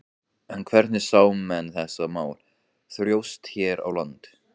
En hvernig sjá menn þessi mál þróast hér á landi?